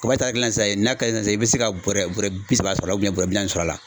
Kaba etari kelen na sisan n'a ka d'i ye sisan i bɛ se ka bɔɔrɛ bɔɔrɛ bi saba sɔrɔ bɔɔrɛ bi naani sɔrɔ a la.